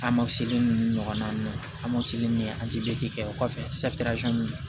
A ma seli ɲɔgɔn na amasini ni kɛ o kɔfɛ